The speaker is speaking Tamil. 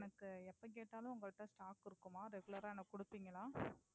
எனக்கு எப்ப கேட்டாலுமே உங்க கிட்ட Stock இருக்குமா Regular ரா எனக்கு குடுப்பீங்களா?